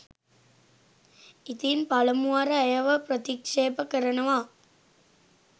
ඉතින් පලමුවර ඇයව ප්‍රතික්ෂේප කරනවා.